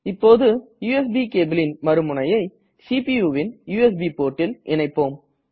இப்போது யுஎஸ்பி cableன் மறு முனையை CPUன் யுஎஸ்பி portல் இணைப்போம்